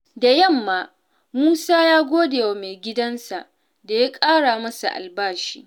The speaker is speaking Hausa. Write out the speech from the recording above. Da yamma, Musa ya gode wa maigidansa da ya ƙara masa albashi.